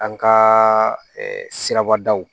An ka siraba daw